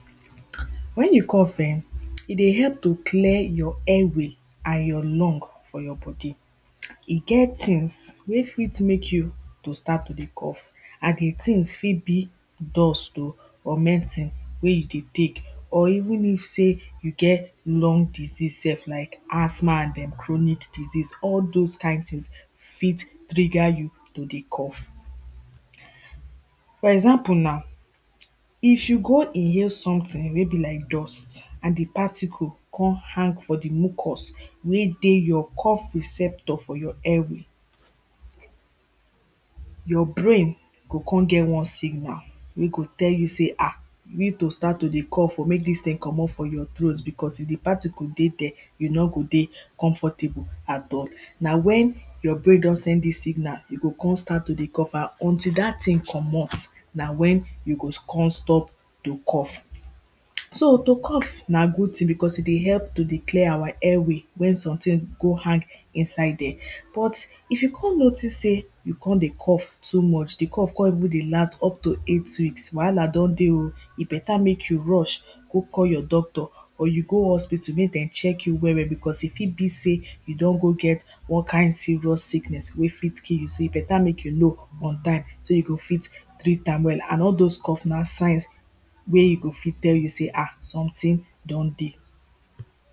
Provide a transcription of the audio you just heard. Wen you cough ehn, e dey help to clear your airway and your lung for your body. E get things wey fit make you to start to dey cough and di thing fit be dust oh or medicine wey you dey take or even if sey you get lung disease self, like asthma and em chronic disease, all those kind things fit trigger you to dey cough. For example now if you go inhale something wey be like dust and di particle come hang for di mucus wey dey your cough receptor for your airway your brain go come get one signal wey go tell you sey ha you need to start to dey cough oh make dis thing comot for your throat becos if di particle dey there you no go dey comfortable at all. Na wen your brain don send dis signal, you go come start to dey cough out until dat thing comot na wen you go come stop to cough So to cough na good thing becos e dey help to dey clear our airway wen something go hang inside there. But if you come notice sey you come dey cough too much, di cough come even dey last up to eight weeks, wahala don dey oh e better make you rush go call your doctor or you go hospital make dem check you well well, becos e fit be sey you don go get one kind serious sickness wey fit kill you, so e better make you know on time so you go fit treat am well and all those cough na signs wey e go fit tell you see ah something don dey